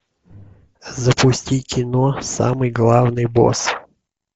запусти кино самый главный босс